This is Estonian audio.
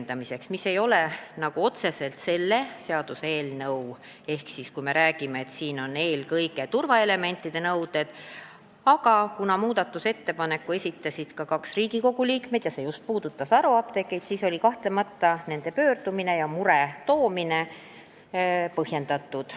See ei ole küll otseselt selle seaduseelnõu teema, sest siin on eelkõige turvaelementide nõuded, aga kuna muudatusettepaneku esitasid ka kaks Riigikogu liiget ja see puudutas just haruapteeke, siis oli nende pöördumine ja mure kahtlemata põhjendatud.